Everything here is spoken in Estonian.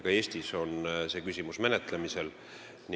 Ka Eestis on see küsimus menetlemisel.